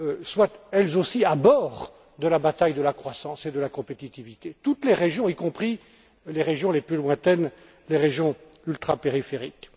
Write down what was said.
soient, elles aussi, à bord de la bataille de la croissance et de la compétitivité toutes les régions, y compris les régions les plus lointaines, les régions ultrapériphériques.